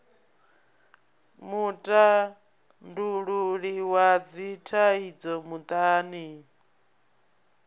mutandululi wa dzithaidzo muṱani n